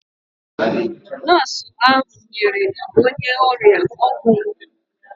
Nọọsụ ahụ nyere onye ọrịa ọgwụ mgbu.